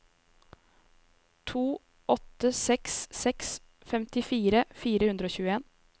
to åtte seks seks femtifire fire hundre og tjueen